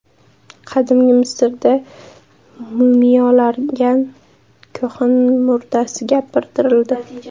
Qadimgi Misrda mumiyolangan kohin murdasi gapirtirildi .